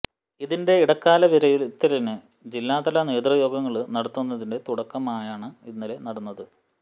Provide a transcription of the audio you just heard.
ഇതിന്റെ ഇടക്കാല വിലയിരുത്തലിന് ജില്ലാതല നേതൃയോഗങ്ങള് നടത്തുന്നതിന്റെ തുടക്കമാണ് ഇന്നലെ നടന്നത്